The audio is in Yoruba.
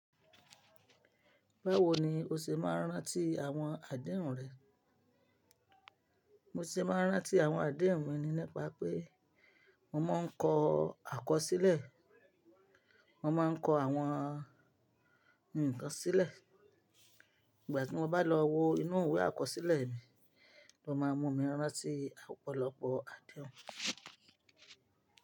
Báwo ni o ṣe máa rántí àwọn àdéhùn rẹ? Mo ṣe máa rántí àwọn àdéhùn mi nípa pé mo máa ń kọ akọsílẹ̀, mo máa ń kọ àwọn nǹkan sílẹ̀. Ìgbà tí mo bá lọ wo inú ìwé àkọsílẹ̀ mi, ló máa mú mi rántí ọ̀pọ̀lọpọ̀ àdéhùn.